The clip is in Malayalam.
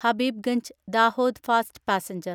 Habibganj Dahod fast passenger